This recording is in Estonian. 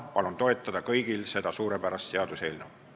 Aga täna palun kõigil seda suurepärast seaduseelnõu toetada.